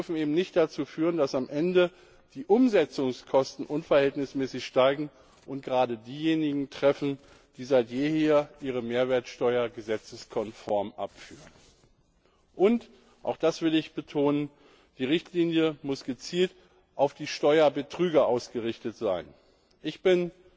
Sie dürfen eben nicht dazu führen, dass am Ende die Umsetzungskosten unverhältnismäßig steigen und gerade diejenigen treffen, die seit jeher ihre Mehrwertsteuer gesetzeskonform abführen, und auch das will ich betonen die Richtlinie muss gezielt auf die Steuerbetrüger ausgerichtet sein. Ich bin